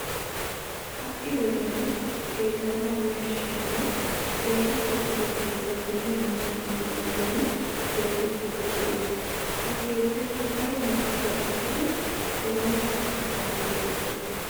Ha"i wodiyan xeellanawu yashshiyanne keehippe lo'iya keettay dumma dumma ambbaa giddon keexettiiddi de'ees. Ha keettaykka daro marccuwa ekkidi eranchcha asan keexettees.